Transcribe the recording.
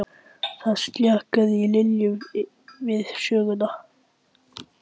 Það sljákkaði í Lillu við söguna.